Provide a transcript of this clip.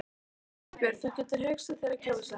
Þorbjörn: Þú getur hugsað þér að kjósa hann?